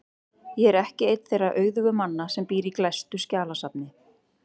Ég er ekki einn þeirra auðugu manna sem býr í glæstu skjalasafni.